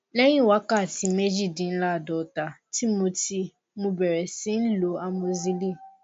lẹyìn wákàtí méjìdínláàádọta tí mo tí mo bẹrẹ sí í lo amosíìlì